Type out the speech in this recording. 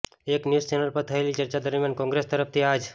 એક news channel પર થયેલી ચર્ચા દરમિયાન કોંગ્રેસ તરફથી આ જ